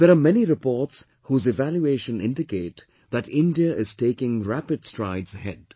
There are many reports whose evaluation indicate that India is taking rapid strides ahead